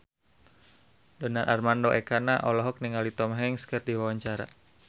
Donar Armando Ekana olohok ningali Tom Hanks keur diwawancara